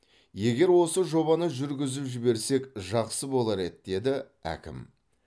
егер осы жобаны жүргізіп жіберсек жақсы болар еді деді әкім